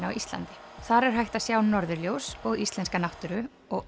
á Íslandi þar er hægt að sjá norðurljós og íslenska náttúru og